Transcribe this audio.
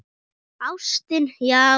Ástin, já!